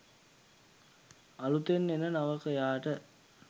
අලුතින් එන නවකයාට